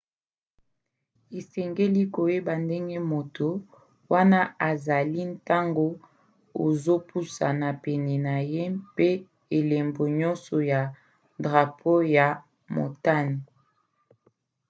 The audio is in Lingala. osengeli koyeba ndenge moto wana azali ntango ozopusana pene na ye mpe elembo nyonso ya drapo ya motane